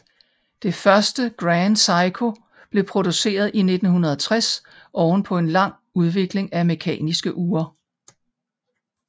Det første Grand Seiko blev produceret i 1960 oven på en lang udvikling af mekaniske ure